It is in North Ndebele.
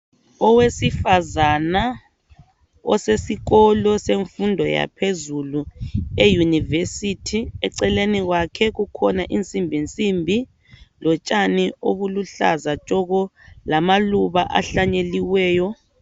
Owesifazana osesikolo semfundo yaphezulu, eUniversity, eceleni kwakhe kukhona insimbinsimbi lotshani obuluhlaza tshoko, lamaluba ahlanyeliweyo.